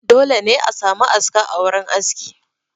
Dole ne a sami aska a wurin haski